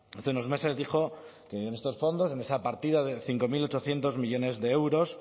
hace unos meses dijo que en esos fondos en esa partida de cinco mil ochocientos millónes de euros